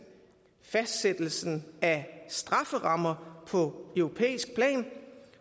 fastsættelsen af strafferammer på europæisk plan